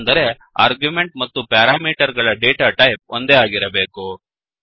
ಅಂದರೆ ಆರ್ಗ್ಯುಮೆಂಟ್ ಮತ್ತು ಪ್ಯಾರಾಮೀಟರ್ ಗಳ ಡೇಟಾಟೈಪ್ ಒಂದೇ ಆಗಿರಬೇಕು